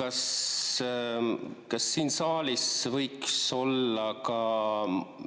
kas siin saalis võiks olla ka